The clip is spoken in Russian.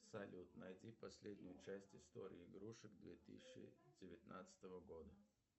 салют найди последнюю часть истории игрушек две тысячи девятнадцатого года